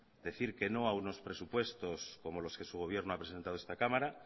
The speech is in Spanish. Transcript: decir que no a unos presupuestos como los que su gobierno ha presentado en esta cámara